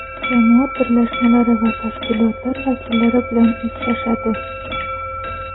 jamoat birlashmalari va tashkilotlar vakillari bilan uchrashadi.